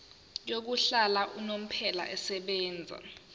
yokuhlala unomphela esebenzayo